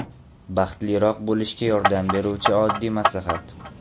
Baxtliroq bo‘lishga yordam beruvchi oddiy maslahat.